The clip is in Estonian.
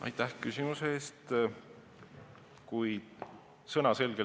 Aitäh küsimuse eest!